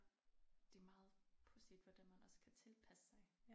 Det meget pudsigt hvordan man også kan tilpasse sig